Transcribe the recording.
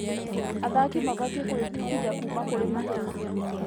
Athaki mabatiĩ gwĩbundithia kuuma kũrĩ mahĩtia.